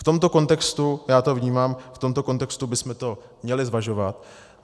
V tomto kontextu, já to vnímám, v tomto kontextu bychom to měli zvažovat.